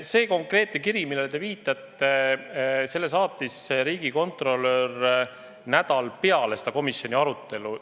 Selle konkreetse kirja, millele te viitate, saatis riigikontrolör nädal peale seda komisjoni arutelu.